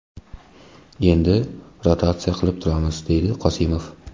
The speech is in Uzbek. Endi rotatsiya qilib turamiz”, – deydi Qosimov.